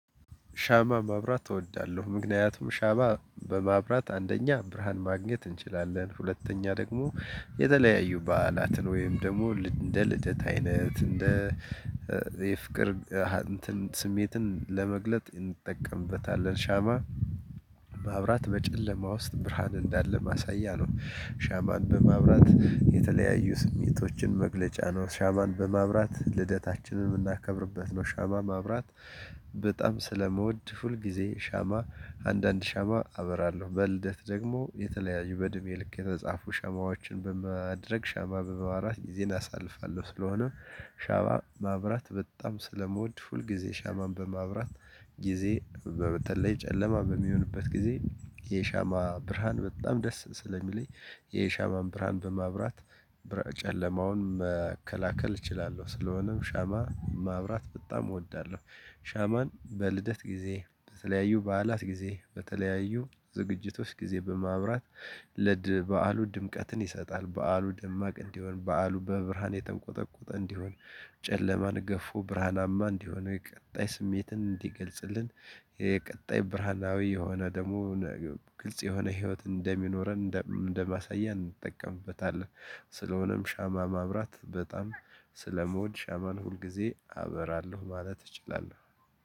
ሻማ ማብራት እወዳለሁ ምክንያቱም ሻማ በማብራት አንደኛ ብርሃን ማግኘት እንችላለን። ሁለተኛ ደግሞ የተለያዩ በዓላትን ወይም ደግሞ እንደ ልደት አይነት እንደ የፍቅር እንትን ስሜትን ለመግለጥ እንጠቀምበታለን ሻማ። ማብራት በጨለማ ውስጥ ብርሃን እንዳለ ማሳያ ነው። ሻማን በማብራት የተለያዩ ስሜቶችን መግለጫ ነው። ሻማን በማብራት ልደታችንን የምናከብርበት ነው። ሻማ ማብራት። በጣም ስለመውድ ሁልጊዜ ሻማ አንዳንድ ሻማ አበራለሁ በልደት ደግሞ የተለያዩ በእድሜ ልክ የተጻፉ ሻማዎችን በማድረግ ሻማ በማብራት ጊዜን አሳልፋለሁ። ስለሆነ። ሻማ ማብራት በጣም ስለምወድ ሁል ጊዜ ሻማን በማብራት ጊዜ በበተለይ ጨለማ በሚሆንበት ጊዜ የሻማ ብርሃን በጣም ደስ ስለሚለኝ። የሻማን ብርሃን በማብራት ጨለማውን መከላከል እችላለሁ። ስለሆነም ሻማ ማብራት በጣም እወዳለሁ። ሻማን በልደት ጊዜ በተለያዩ በዓላት ጊዜ በተለያዩ ዝግጅቶች ጊዜ በማብራት ለድ በዓሉ ድምቀትን ይሰጣል። በዓሉ ደማቅ እንዲሆን በዓሉ በብርሃን የተንቆጠቆጠ እንዲሆን። ጨለማን ገፎ ብርሃናማ እንዲሆን የቀጣይ ስሜትን እንዲገልጽልን። የቀጣይ ብርሃናዊ የሆነ ደግሞ ግልጽ የሆነ ህይወት እንደሚኖረን እንደማሳያ እንጠቀምበታለን። ስለሆነም ሻማ ማብራት በጣም ስለመወድ ሻማን ሁል ጊዜ አበራለሁ ማለት እችላለሁ።